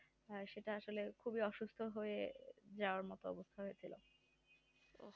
হয় সেটা আসলে অসুস্থ যাওয়ার মতো অবস্থা হয়েছিল